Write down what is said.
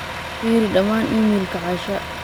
firi dhammaan iimaylka asha